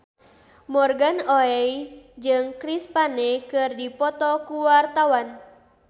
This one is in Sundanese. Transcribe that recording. Morgan Oey jeung Chris Pane keur dipoto ku wartawan